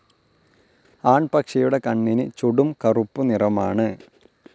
ആൺപക്ഷിയുടെ കണ്ണിന് ചുടും കറുപ്പു നിറമാണ്.